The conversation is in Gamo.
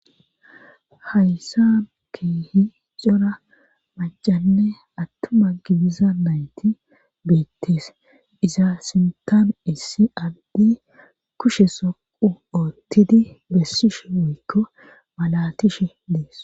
Hayssan keehi cora macanne attuma gibiza nayti beettees iza sintam issi addi kushe soqu oottidi bessishe woykko malatishe dees.